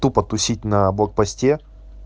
тупо тусить на блок посте